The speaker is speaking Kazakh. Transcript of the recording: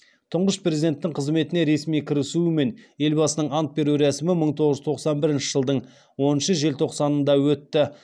тұңғыш президенттің қызметіне ресми кірісуі мен елбасының ант беру рәсімі бір мың тоғыз жүз тоқсан бірінші жылдың онаншы желтоқсанында өтті